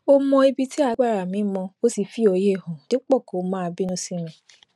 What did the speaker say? ó mọ ibi tí agbára mi mọ ó sì fi óye hàn dípò kó máa bínú sí mi